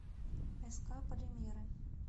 ск полимеры